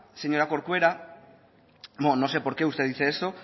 señora corcuera bueno no sé por qué usted dice eso